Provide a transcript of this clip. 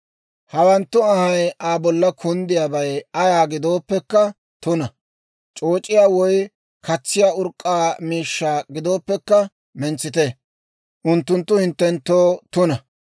Hawanttu anhay Aa bolla kunddiyaabay ayaa gidooppekka tuna. C'ooc'iyaa woy katsiyaa urk'k'aa miishshaa gidooppekka mentsite; unttunttu hinttenttoo tuna.